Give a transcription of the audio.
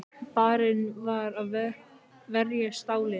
Barinn fyrir að verja Stalín